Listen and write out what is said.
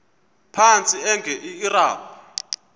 phantsi enge lrabi